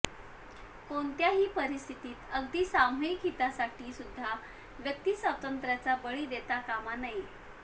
कोणत्याही परिस्थितीत अगदी सामूहिक हितासाठी सुद्धा व्यक्तिस्वातंत्र्याचा बळी देता कामा नये